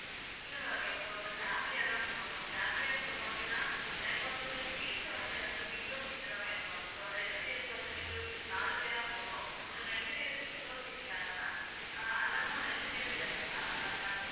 இல்ல ma'am இப்ப வந்து family யாதான் போறோம் ma'am, family யா போறோம் அப்படின்னா எனக்கு வந்து seat வந்து எனக்கு window seat தான் வேணும் ma'am இப்ப வந்து, ரெண்டு பேருக்கு வந்து, window seat நாலு பேரா போறோம். அதில, ரெண்டு பேருக்கு window seat வேணும் ma'am அஹ் அதில்லாம அஹ் ரெண்டு பேருக்கு என்னன்னா நடு~